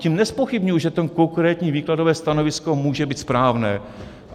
Tím nezpochybňuji, že to konkrétní výkladové stanovisko může být správné.